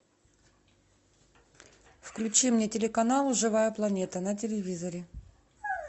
включи мне телеканал живая планета на телевизоре